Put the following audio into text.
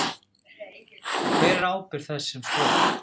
Hver er ábyrgð þess sem skoðar?